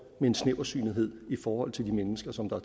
en snævertsynethed i forhold til de mennesker som der